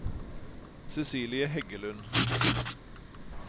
Cecilie Heggelund